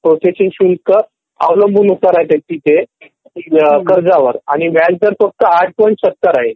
processing शुल्क अवलंबून आहे तिथे कर्जावर आणि व्याजदर फक्त ८.७० आहे